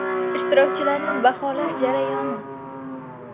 Ishtirokchilarni baholash jarayoni.